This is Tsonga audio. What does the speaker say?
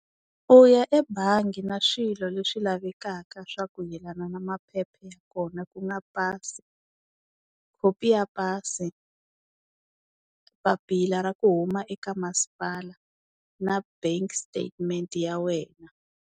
U ya ebangi na swilo leswi lavekaka swa ku yelana na maphepha ya kona, ku nga pasi, khopi ya pasi, papila ra ku huma eka masipala na bank statement ya wena.